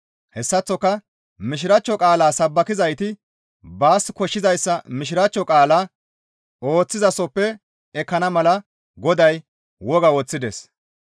Hessaththoka Mishiraachcho qaalaa sabbakizayti baas koshshizayssa Mishiraachcho qaalaa ooththizasoppe ekkana mala Goday woga woththides.